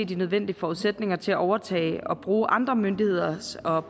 de nødvendige forudsætninger til at overtage og bruge andre myndigheders og